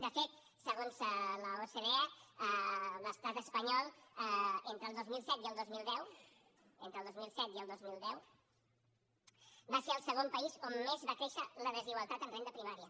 de fet segons l’ocde l’estat espanyol entre el dos mil set i el dos mil deu entre el dos mil set i el dos mil deu va ser el segon país on més va créixer la desigualtat en renda primària